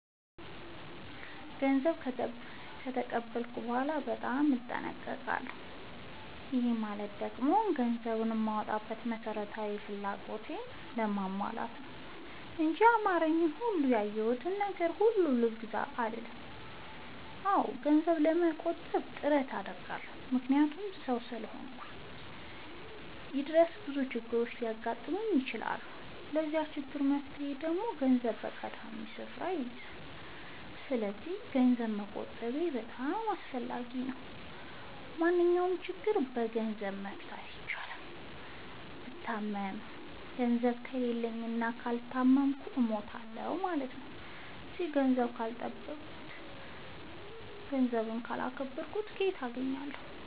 ገንዘብ ከተቀበልኩ በኋላ በጣም እጠነቀቃለሁ። ይህ ማለት ደግሞ ገንዘብ የማወጣው መሠረታዊ ፍላጎቴን ለማሟላት ነው እንጂ ያማረኝን ወይም ያየሁትን ነገር ሁሉ ልግዛ አልልም። አዎ ገንዘብ ለመቆጠብ ጥረት አደርጋለሁ። ምክንያቱም ሠው እስከሆንኩኝ ድረስ ብዙ ችግሮች ሊያጋጥሙኝ ይችላሉ። ለዛ ችግር መፍትሄ ደግሞ ገንዘብ ቀዳሚውን ስፍራ ይይዛል። ሰስለዚክ ገንዘብ መቆጠቤ በጣም አስፈላጊ ነው። ማንኛውንም ችግር በገንዘብ መፍታት ይቻላል። ብታመም ገንዘብ ከሌለኝ እና ካልታከምኩ እሞታሁ።